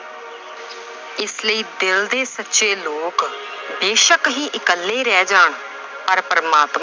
ਇਸ ਲਈ ਦਿਲ ਦੇ ਸੱਚੇ ਲੋਕ ਬੇਸ਼ੱਕ ਹੀ ਇੱਕਲੇ ਰਹਿ ਜਾਣ, ਪਰ ਪਰਮਾਤਮਾ